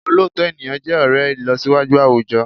Òlóòtọ́ ènìyàn jẹ́ ọ̀rẹ́ ìlọsíwájú àwùjọ